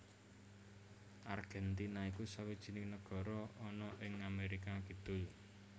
Argèntina iku sawijining nagara ana ing Amérika Kidul